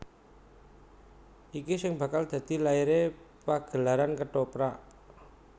Iki sing bakal dadi laire pagelaran Kethoprak